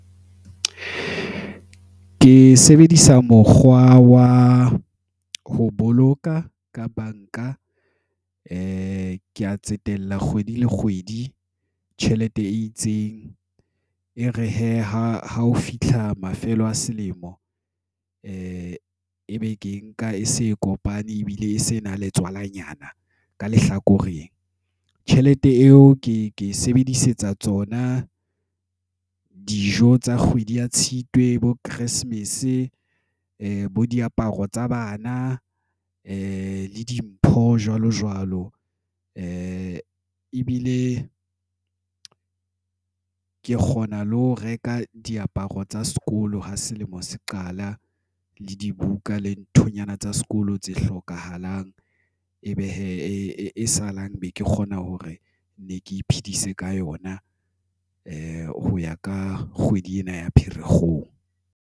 Ke sebedisa mokgwa wa ho boloka ka banka e ka tsetela kgwedi le kgwedi tjhelete e itseng e re hee ha hao fihla mafelo a selemo, nka e ebe ke nka e se e kopane ebile e se na le tswala nyana ka lehlakoreng tjhelete eo ke e sebedisetsa tsona dijo tsa kgwedi ya Tshitwe bo Keresemes bo diaparo tsa bana le dimpho jwalo jwalo e ebile ke kgona le ho reka diaparo tsa sekolo ha selemo se qala le dibuka le nthonyana tsa sekolo tse hlokahalang. Ebe hee e salang be ke kgona hore ne ke iphedisa ka yona e ho ya ka kgwedi ena ya Pherekgong.